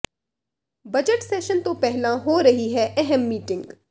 budget session ਤੋਂ ਪਹਿਲਾਂ ਹੋ ਰਹੀ ਹੈ ਅਹਿਮ ਮੀਟਿੰਗ